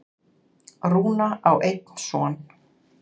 Rúna á einn son.